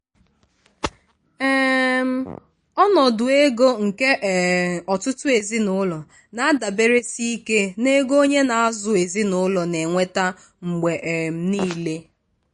um ọnọdụ ego nke um ọtụtụ ezinụlọ na-adaberesi ike n'ego onye na-azụ ezinụlọ na-enweta mgbe um niile.